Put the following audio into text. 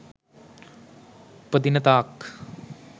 උපදින තාක්